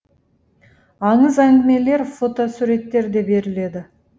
аңыз әңгімелер фотосуреттер де беріледі